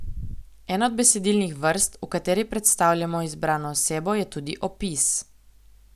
Ena od besedilnih vrst, v kateri predstavljamo izbrano osebo, je tudi opis.